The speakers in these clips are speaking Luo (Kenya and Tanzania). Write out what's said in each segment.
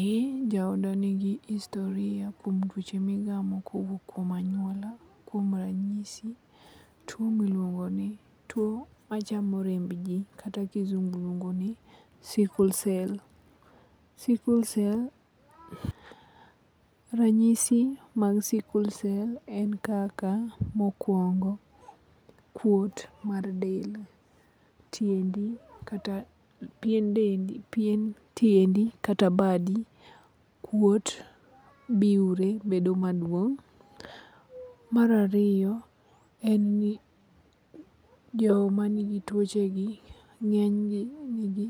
Eh jooda nigi historia kuom tuoche migamo kowuok kuom anyuola. Kuom ranyisi tuo machamo rembji kata kizungu luongo ni sickle cell. Ranyisi mag sickle cell en kaka mokwongo, kuot mar del, tiendi kata pien tiendi kata badi kuot, biwre bedo maduong. Mar ariyo en ni joma nigio tuochegi ng'enygi nigi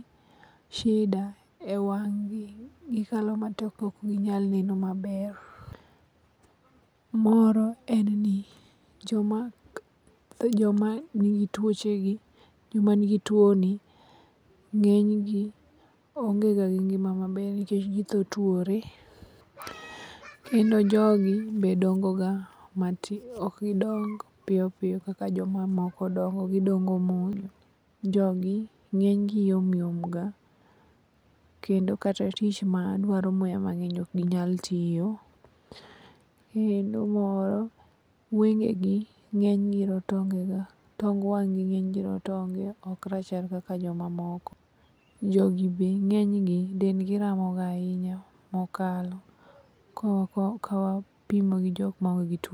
shida e wang'gi. Gikalo matek kok ginyal neno maber. Moro en ni joma nigi tuoni ng'enygi onge ga gi ngima maber nikech githo twore kendo jogi ok gidong piyoppiyo kaka jomamoko dongo gidobgo mos. Jogi ng'enygi yom yom ga kendo kata tich madwaro muya mang'eny ok ginyal tiyo. Kendo moro, wengegi ng'enygi rotonge ga tong wang'gi ng'enygi rotonge ok rachar kaka jomamoko. Jogi be ng'enygi dendgi ramoga ahinya mokalo kawapimo gi jok maonge gi tuoni.